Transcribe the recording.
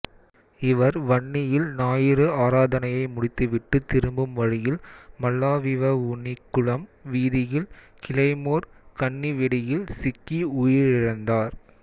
இவர் வன்னியில் ஞாயிறு ஆராதனையை முடித்து விட்டு திரும்பும் வழியில் மல்லாவிவவுனிக்குளம் வீதியில் கிளைமோர் கண்ணிவெடியில் சிக்கி உயிரிழந்தார்